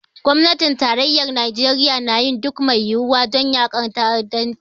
Gwamnatin tarayyar Najeriya na yin duk mai yiwuwa don yaƙar ta'addanci.